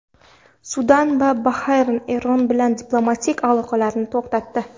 Sudan va Bahrayn Eron bilan diplomatik aloqalarni to‘xtatdi.